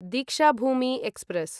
Deekshabhoomi express